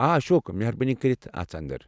آ اشوک، مہربٲنی کٔرتھ اژ اندر۔